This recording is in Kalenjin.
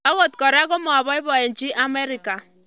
Angot klra komapaipochi Amerika